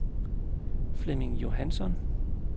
Flemming Johansson